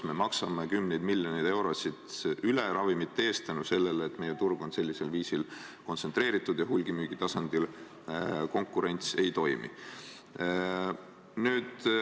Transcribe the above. Me maksame kümneid miljoneid eurosid ravimite eest rohkem selle tõttu, et meie turg on sellisel viisil kontsentreeritud ja hulgimüügi tasandil konkurents ei toimi.